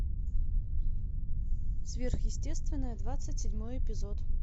сверхъестественное двадцать седьмой эпизод